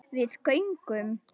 Við göngum